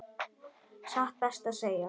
Satt best að segja.